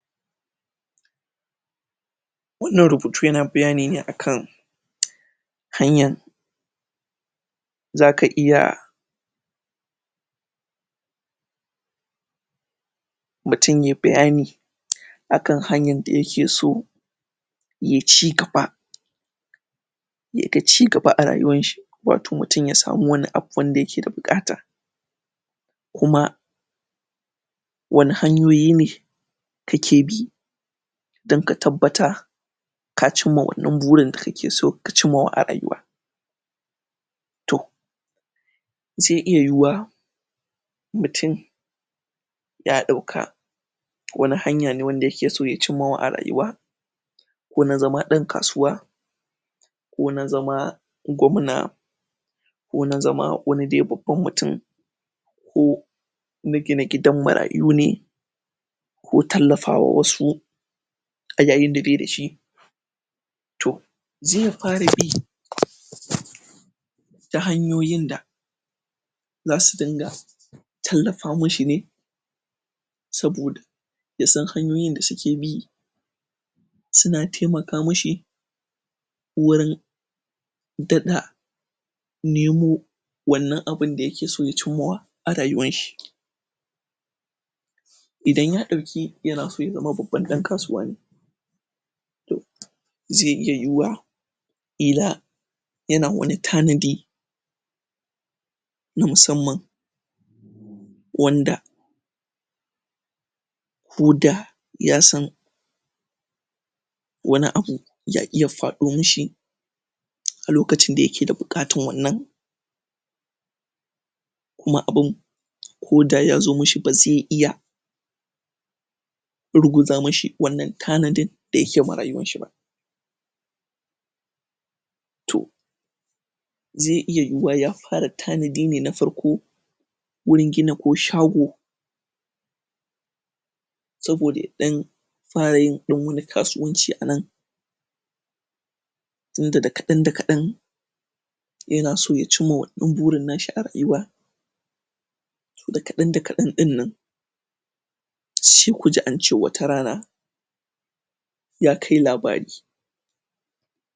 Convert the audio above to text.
Wannan rubutu yana bayani ne akan hanyan zaka iya mutum yayi bayani akan hanyar da yake so ya cigaba yaga cigaba a rayuwar shi wato mutum ya sami wani abu wanda yake da buƙata kuma wanne hanyoyi ne kake bi dan ka tabbata ka cimma wannan burin da aka so ka cimmawa a rayuwa to zao iya yiyuwa mutum ya ɗauka wane hanya ne wanda yake so ya cimmawa a rayuwa ko na zama ɗan kasuwa ko na zama gwamna ko na zama wani dai babban mutum ko na gina gidan marayu ne ko tallafa wasu a yayin da bai dashi to zai fara bi ta hanyoyin da zasu dunga tallafa mishi ne saboda ya san hanyoyin da suke bi suna taimaka mishi wurin daɗa nemo wannan abun da yake so ya cimmawa a rayuwar shi idan ya ɗauki ya zama babban ɗan kasuwa ne to zai iya yiyuwa ƙila yana wane tanadi na musammam wanda ko da ya san wani abu ya iya faɗo mishi a lokacin da yake da buƙatar wannan kuma abun koda yazo mishi ba zai iya ruguza mishi wannan tanadin da yake ma rayuwar shi ba to zai iya yiyuwa ya fara tanadi ne na farko wurin gina ko shago saboda ya ɗan fara yin ɗan wani kasuwanci a nan inda dakaɗan- dakaɗan yana so ya cimma wannan burin na shi a rayuwa dakaɗan-dakaɗan ɗin nan sai kuji ance wata rana ya kai labari